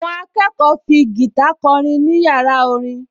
Àwọn akẹ́kọ̀ọ fi gìtá kọrin ní yàrá orin